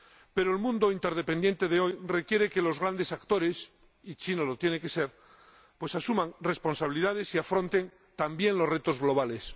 Pero el mundo interdependiente de hoy requiere que los grandes actores —y China lo tiene que ser— asuman responsabilidades y afronten también los retos globales.